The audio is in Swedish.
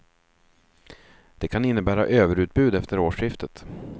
Det kan innebära överutbud efter årsskiftet.